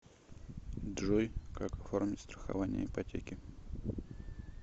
джой как оформить страхование ипотеки